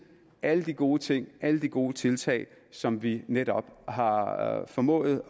alle de gode ting alle de gode tiltag som vi netop har formået